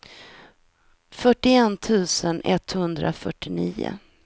fyrtioett tusen etthundrafyrtionio